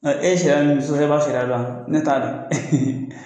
E ye sariya min sɔsɔ e b'a sariya dɔn ne t'a dɔn